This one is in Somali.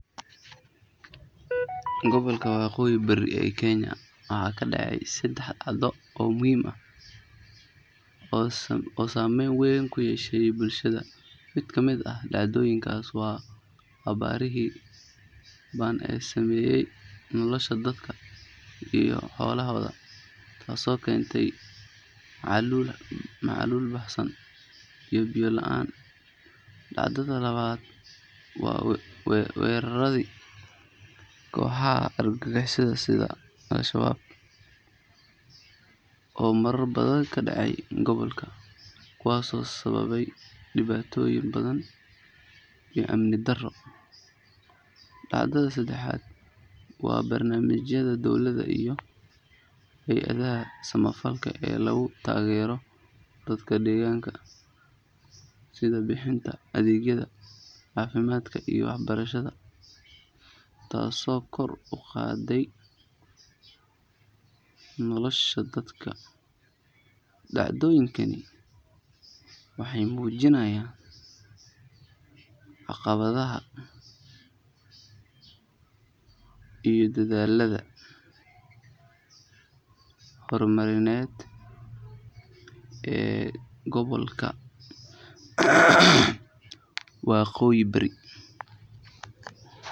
Gobolka Waqooyi Bari ee Kenya waxaa ka dhacay saddex dhacdo oo muhiim ah oo saamayn wayn ku yeeshay bulshada. Mid ka mid ah dhacdooyinkaas waa abaarihii ba’an ee saameeyay nolosha dadka iyo xoolahooda, taasoo keentay macaluul baahsan iyo biyo la’aan. Dhacdada labaad waa weeraradii kooxaha argagixisada sida Al-Shabaab oo marar badan ka dhacay gobolka, kuwaasoo sababay dhibaatooyin badan iyo amni darro. Dhacdada saddexaad waa barnaamijyada dowladda iyo hay’adaha samafalka ee lagu taageerayo dadka deegaanka, sida bixinta adeegyada caafimaadka iyo waxbarashada, taasoo kor u qaaday nolosha dadka. Dhacdooyinkan waxay muujinayaan caqabadaha iyo dadaallada horumarineed ee gobolka Waqooyi Bari.